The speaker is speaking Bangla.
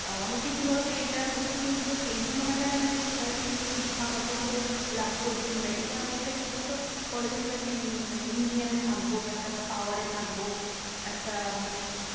আহ অনেকেই কি বলতো? এইটার প্রতি interest এই জন্য দেখায় না যে সেটা শিক্ষাগত ভাবে লাভ করবে। কিংবা এটা একটা কি বলতো? college এর একটা মানে union এ থাকবো একটা power এ থাকবো। একটা মানে